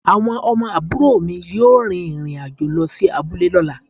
Awon omo aburo mi yoo rin irin ajo lo si abule lola